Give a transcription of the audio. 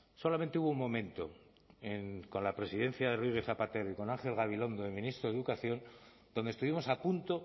solamente hubo un momento con la presidencia de rodríguez zapatero y con ángel gabilondo el ministro de educación donde estuvimos a punto